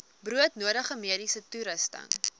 broodnodige mediese toerusting